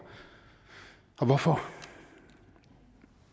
og hvorfor